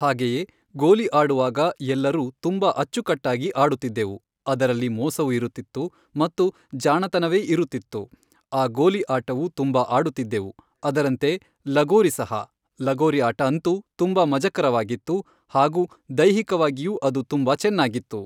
ಹಾಗೆಯೇ ಗೋಲಿ ಆಡುವಾಗ ಎಲ್ಲರೂ ತುಂಬ ಅಚ್ಚುಕಟ್ಟಾಗಿ ಆಡುತ್ತಿದ್ದೆವು ಅದರಲ್ಲಿ ಮೋಸವು ಇರುತ್ತಿತ್ತು ಮತ್ತು ಜಾಣತನವೇ ಇರುತ್ತಿತ್ತು ಆ ಗೋಲಿ ಆಟವು ತುಂಬ ಆಡುತ್ತಿದ್ದೆವು ಅದರಂತೆ ಲಗೋರಿ ಸಹ ಲಗೋರಿ ಆಟ ಅಂತೂ ತುಂಬ ಮಜಕರವಾಗಿತ್ತು ಹಾಗೂ ದೈಹಿಕವಾಗಿಯೂ ಅದು ತುಂಬ ಚೆನ್ನಾಗಿತ್ತು.